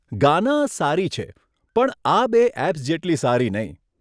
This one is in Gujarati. ગાના સારી છે, પણ આ બે એપ્સ જેટલી સારી નહીં.